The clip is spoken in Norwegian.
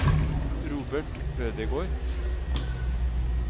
Robert Ødegård